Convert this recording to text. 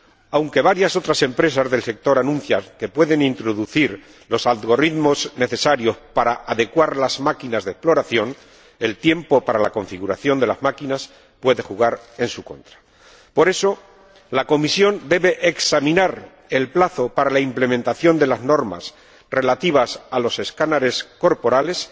Aunque otras empresas del sector anuncian que pueden introducir los algoritmos necesarios para adecuar las máquinas de exploración, el tiempo para la configuración de las máquinas puede jugar en su contra. Por eso la Comisión debe examinar el plazo para la implementación de las normas relativas a los escáneres corporales,